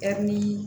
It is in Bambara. Ɛri